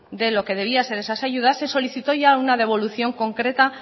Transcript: de lo que debía ser esas ayudas se solicitó ya una devolución concreta